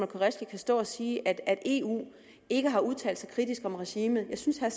qureshi kan stå og sige at eu ikke har udtalt sig kritisk om regimet jeg synes at